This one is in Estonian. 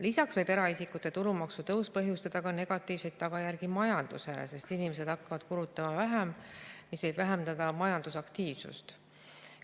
Lisaks võib eraisikute tulumaksu tõus põhjustada negatiivseid tagajärgi ka majandusele, sest inimesed hakkavad vähem kulutama, mis võib vähendada majandusaktiivsust.